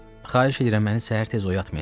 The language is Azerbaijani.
Xahiş edirəm məni səhər tez oyatmayın.